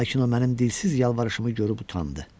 Lakin o mənim dilsiz yalvarışımı görüb utandı.